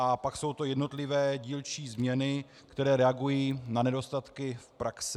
A pak jsou to jednotlivé dílčí změny, které reagují na nedostatky v praxi.